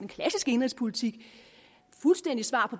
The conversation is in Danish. klassiske indenrigspolitik et fuldstændigt svar